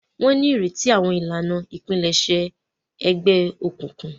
Wọn n'ireti awọn ìlànà ipilẹṣẹ Ẹgbẹ òkùnkùn